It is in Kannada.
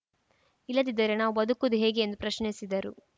ಇಲ್ಲದಿದ್ದರೆ ನಾವು ಬದುಕುವುದು ಹೇಗೆ ಎಂದು ಪ್ರಶ್ನಿಸಿದರು